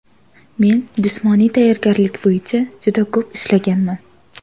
Men jismoniy tayyorgarlik bo‘yicha juda ko‘p ishlaganman.